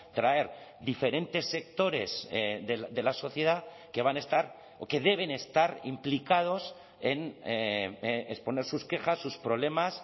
traer diferentes sectores de la sociedad que van a estar o que deben estar implicados en exponer sus quejas sus problemas